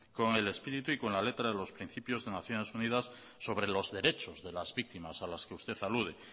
con el espíritu y con la letra de los principios de naciones unidas sobre los derechos de las víctimas a las que usted alude